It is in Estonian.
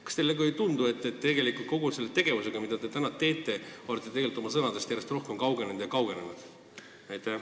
Kas teile ei tundu, et kogu selle praeguse tegevusega olete te tegelikult oma sõnadest järjest rohkem kaugenenud?